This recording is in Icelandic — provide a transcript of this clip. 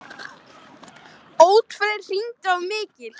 Oddfreyr, hringdu í Mikil.